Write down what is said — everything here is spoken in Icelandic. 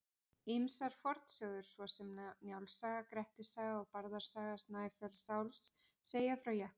Ýmsar fornsögur svo sem Njáls saga, Grettis saga og Bárðar saga Snæfellsáss segja frá jöklum.